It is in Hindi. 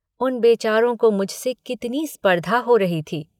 उन बेचारों को मुझसे कितनी स्पर्धा हो रही थी।